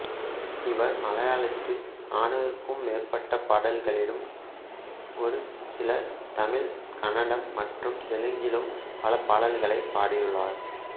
இவர் மலையாளத்தில் நானூறுக்கும் மேற்பட்ட படங்களிலும் ஒரு சில தமிழ் கன்னடம் மற்றும் தெலுங்கிலும் பல பாடல்களைப் பாடியுள்ளார்